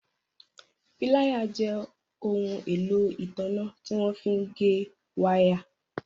Píláyà jẹ́ ohun èlò ìtanná tí wọ́n fí ń gé wáà.